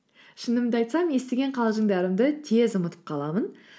шынымды айтсам естіген қалжыңдарымды тез ұмытып қаламын